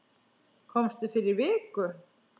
Komstu fyrir viku?